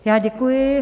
Já děkuji.